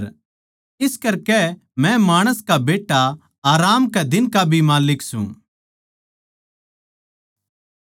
इस करकै मै माणस का बेट्टा आराम कै दिन का भी माल्लिक सूं